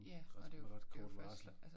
Ja og det jo det jo første altså